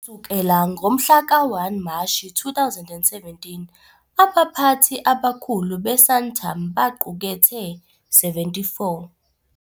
Kusukela ngomhla ka-1 Mashi 2017, abaphathi abakhulu be-Santam baqukethe- - 74